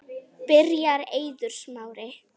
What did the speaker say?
Byrjar Eiður Smári?